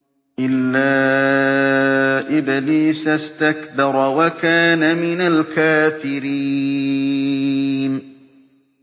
إِلَّا إِبْلِيسَ اسْتَكْبَرَ وَكَانَ مِنَ الْكَافِرِينَ